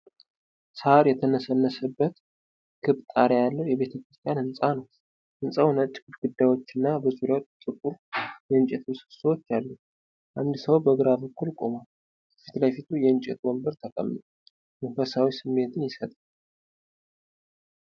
ሣር የተነሰነሰበት ክብ ጣሪያ ያለው የቤተክርስቲያን ህንጻ ነው። ህንጻው ነጭ ግድግዳዎች እና በዙሪያው ጥቁር የእንጨት ምሰሶዎች አሉት። አንድ ሰው በግራ በኩል ቆሟል፤ ከፊት ለፊቱ የእንጨት ወንበር ተቀምጧል። መንፈሳዊ ስሜትን ይሰጣል።